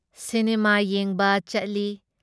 Cinema ꯌꯦꯡꯕ ꯆꯠꯂꯤ ꯫